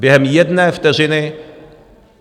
Během jedné vteřiny.